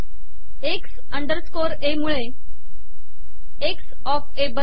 x underscore a मुळे x of a बनते